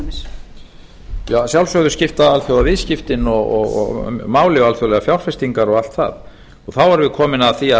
forseti að sjálfsögðu skipta alþjóðaviðskiptin og máli og alþjóðlegar fjárfestingar og allt það þá erum við komin að því að